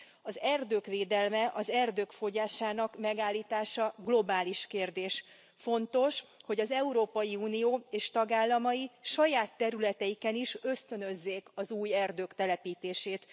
Az erdők védelme, az erdők fogyásának megállítása globális kérdés. Fontos, hogy az Európai Unió és tagállamai saját területeiken is ösztönözzék az új erdők telepítését.